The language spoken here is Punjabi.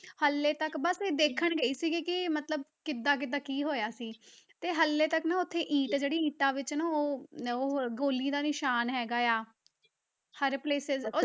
ਹਾਲੇ ਤੱਕ ਬਸ ਦੇਖਣ ਗਈ ਸੀਗੀ ਕਿ ਮਤਲਬ ਕਿੱਦਾਂ ਕਿੱਦਾਂ ਕੀ ਹੋਇਆ ਸੀ, ਤੇ ਹਾਲੇ ਤੱਕ ਨਾ ਉੱਥੇ ਇੱਟ ਜਿਹੜੀ ਇੱਟਾਂ ਵਿੱਚ ਨਾ ਉਹ ਉਹ ਗੋਲੀ ਦਾ ਨਿਸ਼ਾਨ ਹੈਗਾ ਆ, ਹਰ places